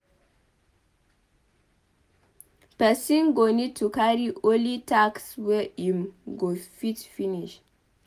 Person go need to carry only tasks wey im go fit finish